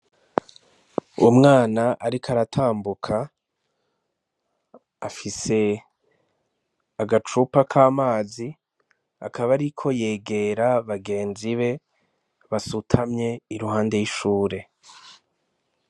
Umwana ariko aratambuka, afise agacupa k'amazi, akaba ariko yegera bagenzibe, basutamye iruhande y'ishure.